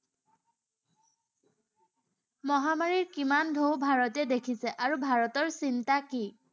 মহামাৰীৰ কিমান ঢৌ ভাৰতে দেখিছে আৰু ভাৰতৰ চিন্তা কি?